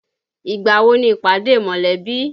Ìgbà wo ni ìpàdé mọ̀lẹ́bí?